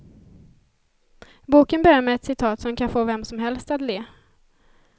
Boken börjar med ett citat som kan få vem som helst att le.